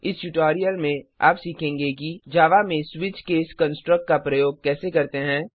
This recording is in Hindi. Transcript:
इस ट्यूटोरियल में आप सीखेंगे कि जावा में स्विच केस कंस्ट्रक्ट का प्रयोग कैसे करते हैं